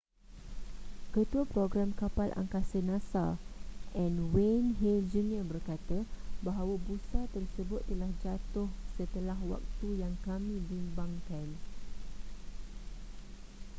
ketua program kapal angkasa nasa n wayne hale jr berkata bahawa busa tersebut telah jatuh setelah waktu yang kami bimbangkan